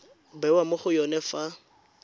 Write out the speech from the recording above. bewa mo go yone fa